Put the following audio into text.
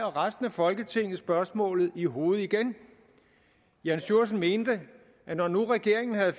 resten af folketinget spørgsmålet i hovedet igen jann sjursen mente at når nu regeringen havde